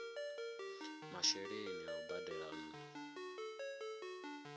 masheleni a u badela nnu